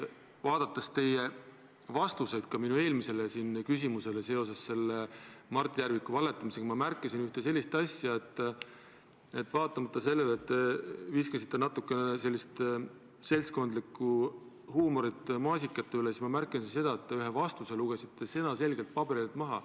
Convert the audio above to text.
Kuulates teie vastuseid minu eelmisele küsimusele Mart Järviku valetamise kohta, ma märkasin, et vaatamata sellele, et te viskasite natukene sellist seltskondlikku nalja maasikatest rääkides, te ühe vastuse lugesite paberilt maha.